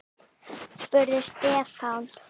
spurði Stefán.